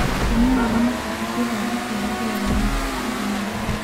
Kũnyua mae mahehũ thũtha wa kwĩnogora nĩ gwa bata harĩ mwĩrĩ